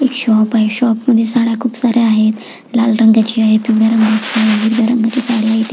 एक शॉप आहे शॉप मध्ये साड्या खुप साऱ्या आहेत लाल रंगाची आहे पिवळ्या रंगाची आहे हिरव्या रंगाची साडी आहे.